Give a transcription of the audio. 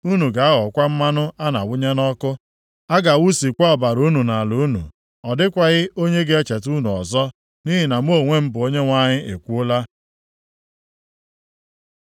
Unu ga-aghọkwa mmanụ a na-awụnye nʼọkụ. A ga-awụsịkwa ọbara unu nʼala unu. Ọ dịkwaghị onye ga-echeta unu ọzọ, nʼihi na mụ onwe m bụ Onyenwe anyị ekwuola.’ ”